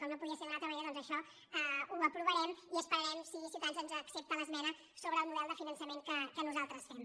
com no podia ser d’una altra manera doncs això ho aprovarem i esperarem si ciutadans ens accepta l’es·mena sobre el model de finançament que nosaltres fem